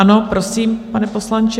Ano, prosím, pane poslanče.